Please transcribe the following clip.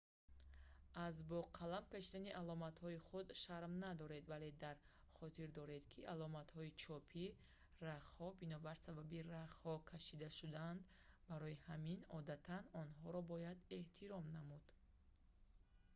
аз бо қалам кшидани аломатҳои худ шарм надоред вале дар хотир доред ки аломатҳои чопии рахҳо бинобар сабаби рахҳо кашида шудаанд барои ҳамин одатан онҳоро бояд эҳтиром намуд